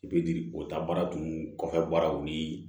I bɛ giri o ta baara dun kɔfɛ baaraw ni